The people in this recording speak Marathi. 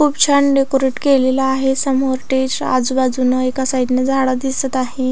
खूप छान डेकोरेट केलेल आहे समोर स्टेज आजूबाजून एका साईडन झाड दिसत आहे.